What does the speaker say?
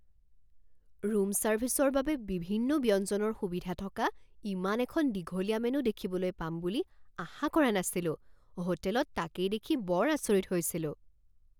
Room ছাৰ্ভিচৰ বাবে বিভিন্ন ব্যঞ্জনৰ সুবিধা থকা ইমান এখন দীঘলীয়া মেনু দেখিবলৈ পাম বুলি আশা কৰা নাছিলো। হোটেলত তাকেই দেখি বৰ আচৰিত হৈছিলোঁ!